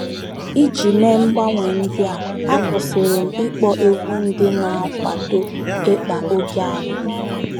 Iji mee mgbanwe ndị a, akwụsịrị m ịkpọ egwú ndị na - akwado ịkpa ókè agbụrụ